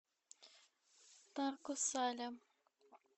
тарко сале